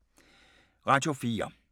Radio 4